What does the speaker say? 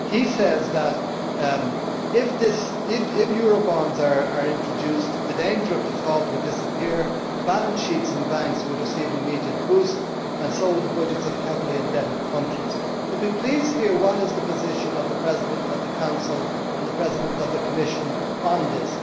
He says that, if Eurobonds are introduced, the danger of default would disappear, balance sheets and banks would receive an immediate boost and so would the budgets of heavily indebted countries. Could we please hear what is the position of the President of the Council and the President of the Commission on this?